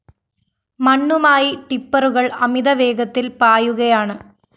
മണ്ണുമായി ടിപ്പറുകള്‍ അമിത വേഗത്തില്‍ പായുകയാണ്